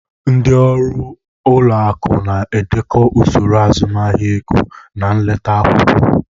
Ndị ọrụ ụlọ akụ na-edekọ usoro azụmahịa ego na leta akwụkwọ.